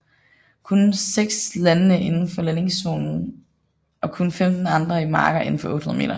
Kun seks landene indenfor landingszonen og kun 15 andre i marker indenfor 800 meter